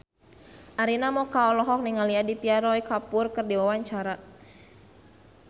Arina Mocca olohok ningali Aditya Roy Kapoor keur diwawancara